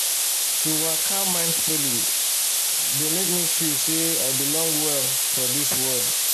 to waka mindfully dey make me feel say i belong well for this world